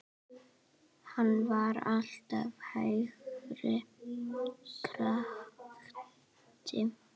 Hann var alltaf hægri krati!